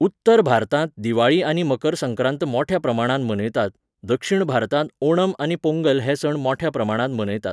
उत्तर भारतांत दिवाळी आनी मकर संक्रांत मोठ्या प्रमाणांत मनयतात, दक्षिण भारतांत ओणम आनी पोंगल हे सण मोठ्या प्रमाणांत मनयतात